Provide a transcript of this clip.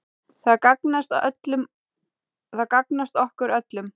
Það gagnast okkur öllum.